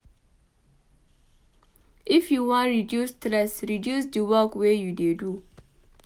If you wan reduce stress reduce di work wey you dey do.